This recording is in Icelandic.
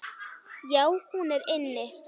Já, hún er inni.